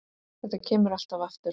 Þetta kemur alltaf aftur.